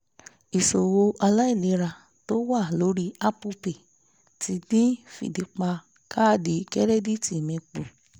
ìṣòwò aláìlera tó wa lórí apple pay ti dín fìdí pa kaadi kẹ́rẹ́díìtì mi kù